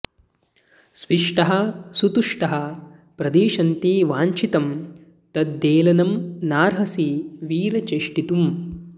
स्विष्टाः सुतुष्टाः प्रदिशन्ति वाञ्छितं तद्धेलनं नार्हसि वीर चेष्टितुम्